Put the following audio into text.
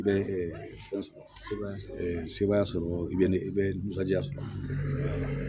I bɛ se baaya sɔrɔ i bɛ ni bɛ dusuba sɔrɔ